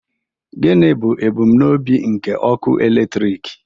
Gịnị bụ ebumnobi nke ọkụ eletrik?